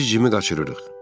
Biz Cimmi qaçırırıq.